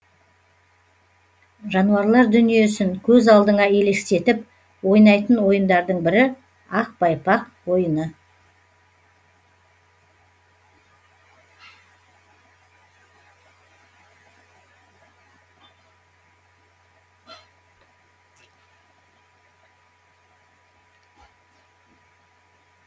жануарлар дүниесін көз алдыңа елестетіп ойнайтын ойындардың бірі ақ байпақ ойыны